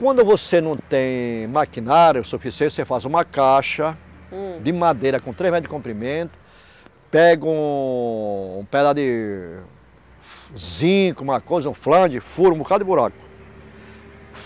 Quando você não tem maquinário suficiente, você faz uma caixa hum de madeira com três metros de comprimento, pega um pedaço de zinco, uma coisa, um flan de furo, um bocado de buraco.